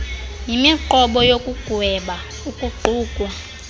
yimiqobo yokugweba ukuqukwa